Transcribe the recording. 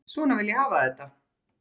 Svona vil ég hafa þetta.